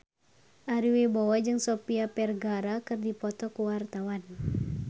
Ari Wibowo jeung Sofia Vergara keur dipoto ku wartawan